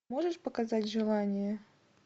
можешь показать желание